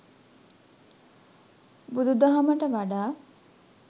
බුදුදහමට වඩා